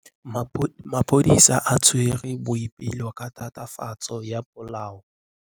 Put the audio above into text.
Maphodisa a tshwere Boipelo ka tatofatsô ya polaô.